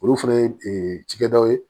Olu fana ye cikɛdaw ye